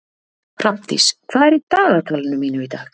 Hrafndís, hvað er í dagatalinu mínu í dag?